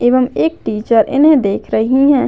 एवं एक टीचर इन्हे देख रही है।